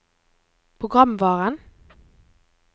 programvaren